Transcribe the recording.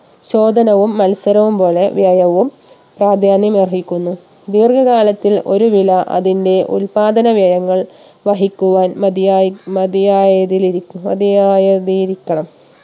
ചോദനവും മത്സരവും പോലെ വ്യയവും പ്രാധാന്യം അർഹിക്കുന്നു ദീർഘ കാലത്തിൽ ഒരു വില അതിന്റെ ഉൽപ്പാദന വ്യയങ്ങൾ വഹിക്കുവാൻ മതിയായി മതിയായതിലിരിക്കു മതിയായതിരിക്കണം